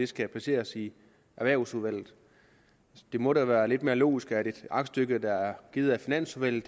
skal placeres i erhvervsudvalget det må da være lidt mere logisk at et aktstykke der er givet af finansudvalget